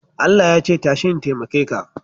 Allah ya ce, tashi in taimake ka